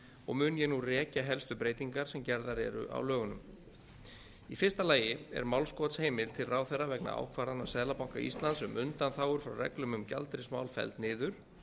og mun ég nú rekja helstu breytingar sem gerðar eru á lögunum í fyrsta lagi er málskotsheimild til ráðherra vegna ákvarðana seðlabanka íslands um undanþágur frá reglum um gjaldeyrismál felld niður